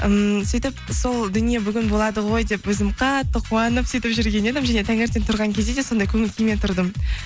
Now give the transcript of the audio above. ммм сөйтіп сол дүние бүгін болады ғой деп өзім қатты қуанып сөйтіп жүрген едім және таңертең тұрған кезде де сондай көңіл күймен тұрдым